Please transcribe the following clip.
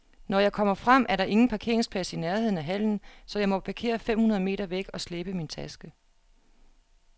Når jeg kommer frem, er der ingen parkeringsplads i nærheden af hallen, så jeg må parkere fem hundrede meter væk og slæbe min taske.